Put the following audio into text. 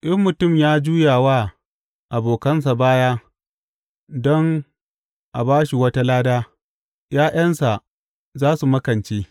In mutum ya juya wa abokansa baya don a ba shi wata lada ’ya’yansa za su makance.